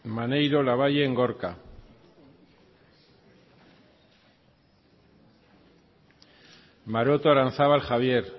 maneiro labayen gorka maroto aranzábal javier